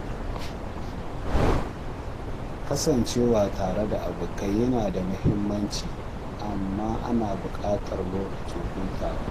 Kasancewa tare da abokai yana da muhimmanci, amma ana buƙatar lokacin hutawa.